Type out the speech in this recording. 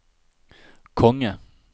konge